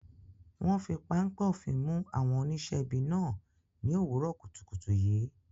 Wọn fi páńpẹ́ òfin mú àwọn oníṣẹ́ ibi náà ní òwúrọ̀ kùtùkùtù yìí.